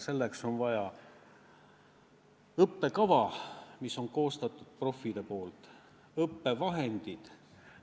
Selleks on vaja õppekava, mille on koostanud profid, on vaja õppevahendeid.